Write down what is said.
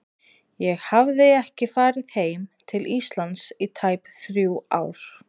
Ég hafði ekki farið heim til Íslands í tæp þrjú ár.